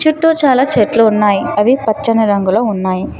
చుట్టు చాలా చెట్లు ఉన్నాయ్ అవి పచ్చని రంగులో ఉన్నాయి.